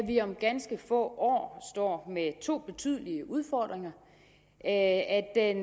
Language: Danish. vi om ganske få år står med to betydelige udfordringer at